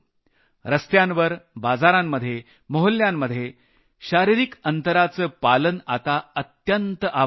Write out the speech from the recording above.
रस्त्यांवर बाजारांमध्ये मोहल्ल्यांमध्ये शारिरिक अंतराचं पालन आता अत्यंत आवश्यक आहे